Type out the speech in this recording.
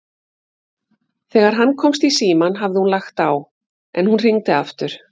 Þegar hann komst í símann hafði hún lagt á, en hún hringdi aftur.